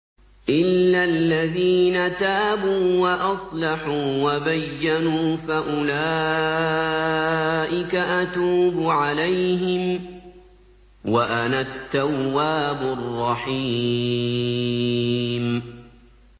إِلَّا الَّذِينَ تَابُوا وَأَصْلَحُوا وَبَيَّنُوا فَأُولَٰئِكَ أَتُوبُ عَلَيْهِمْ ۚ وَأَنَا التَّوَّابُ الرَّحِيمُ